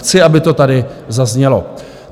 Chci, aby to tady zaznělo.